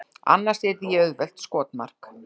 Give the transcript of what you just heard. Annars yrði ég auðvelt skotmark.